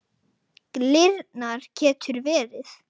Glyrna getur verið